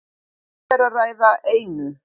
Um er að ræða einu